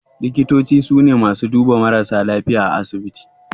Likitoci su ne masu duba marasa lafiya a asibiti